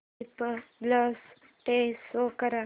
Republic day show कर